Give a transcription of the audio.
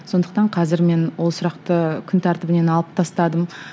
сондықтан қазір мен ол сұрақты күн тәртібінен алып тастадым